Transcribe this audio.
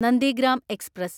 Nandigram express